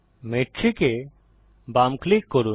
metric এ বাম click করুন